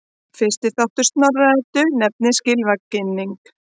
Fyrsti þáttur Snorra-Eddu nefnist Gylfaginning.